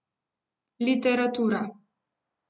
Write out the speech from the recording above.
Literatura.